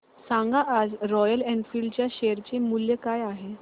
सांगा आज Royal Enfield च्या शेअर चे मूल्य काय आहे